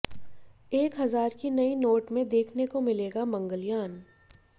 एक हजार की नई नोट में देखने को मिलेगा मंगलयान